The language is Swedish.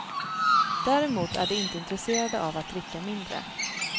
Däremot är de inte intresserade av att dricka mindre.